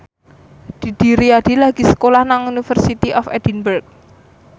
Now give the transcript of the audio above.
Didi Riyadi lagi sekolah nang University of Edinburgh